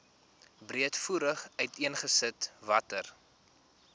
breedvoerig uiteengesit watter